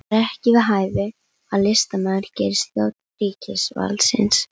Það er ekki við hæfi að listamaður gerist þjónn ríkisvaldsins